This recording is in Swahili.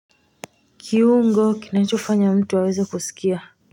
Kiungo kinachofanya mtu aweze kusikia.